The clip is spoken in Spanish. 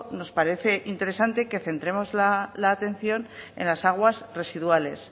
nos parece interesante que centremos la atención en las aguas residuales